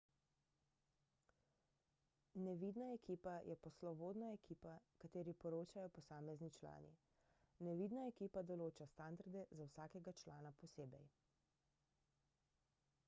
»nevidna ekipa« je poslovodna ekipa kateri poročajo posamezni člani. nevidna ekipa določa standarde za vsakega člana posebej